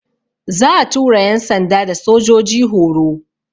Za'a tura yan'sanda da sojoji horo.